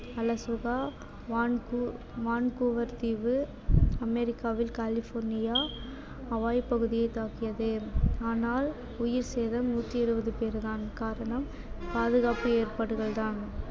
வான்கூ~ Vancouver தீவு, அமெரிக்காவில் California, Hawaii பகுதியை தாக்கியது ஆனால் உயிர் சேதம் நூற்றி இருபது பேர் தான் காரணம் பாதுகாப்பு ஏற்பாடுகள் தான்